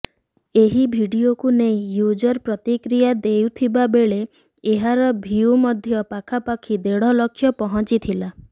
ଏହି ଭିଡିଓକୁ ନେଇ ୟୁଜର ପ୍ରତିକ୍ରିୟା ଦେଉଥିବା ବେଳେ ଏହାର ଭିଉ ମଧ୍ୟ ପାଖାପାଖି ଦେଢ଼ ଲକ୍ଷ ପହଞ୍ଚିଲାଣି